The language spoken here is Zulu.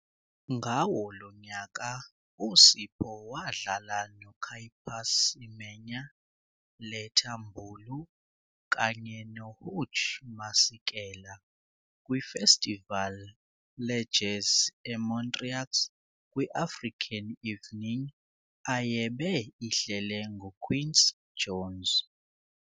Ngawo lonyaka uSipho wadlala no Caiphus Semenya, Letta Mbulu kanye no Hugh Masekela kwiFestival le-Jazz eMontreux kwi-African Evening ayebe ihlele nguQuincy Jones.